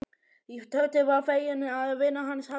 Tóti var feginn að vinur hans hafði tekið sönsum.